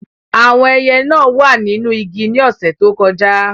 Àwọn ẹyẹ náà wà nínú igi ní ọ̀sẹ̀ tó kọjá.